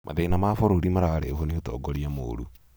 mathĩna ma bũrũri mararehwo nĩ ũtongoria mũũru